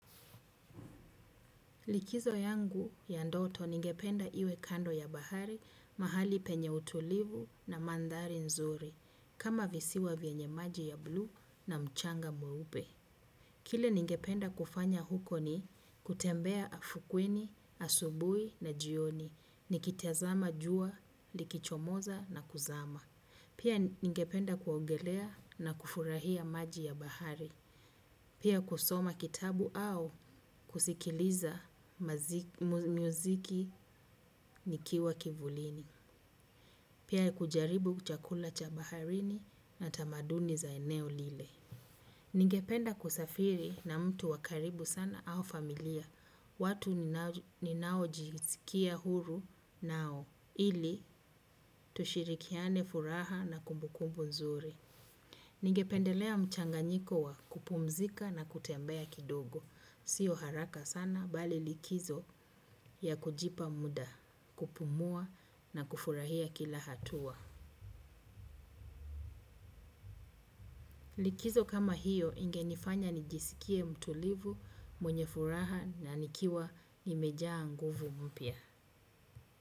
Likizo yangu ya ndoto ningependa iwe kando ya bahari mahali penye utulivu na mandhari nzuri kama visiwa vyenye maji ya bluu na mchanga mweupe. Kile ningependa kufanya huko ni kutembea afukweni, asubuhi na jioni, nikita zama jua, likichomoza na kuzama. Pia ningependa kuogelea na kufurahia maji ya bahari. Pia kusoma kitabu au kusikiliza mazi muziki nikiwa kivulini. Pia kujaribu chakula cha baharini na tamaduni za eneo lile. Ningependa kusafiri na mtu wakaribu sana au familia. Watu ni nao jisikia huru nao. Ili tushirikiane furaha na kumbukumbu nzuri. Ningependelea mchanganyiko wa kupumzika na kutembea kidogo. Sio haraka sana bali kujipa likizo ya kufurahia kila hatua. Likizo kama hiyo inge nifanya nijisikie mtulivu, mwenye furaha na nikiwa nimejaa nguvu mpya.